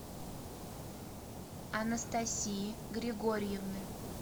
анастасии григорьевны